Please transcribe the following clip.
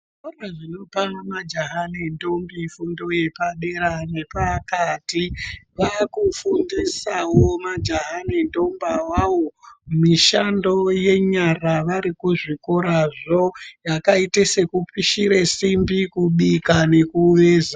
Zvikoro zvinopa majaha nentombi fundo yepadera nepakati vakufundisawo majaha nentombi awawo mishando yenyara varikuzvikorazvo yakaite sekupishira simbi, kubika nekuveza.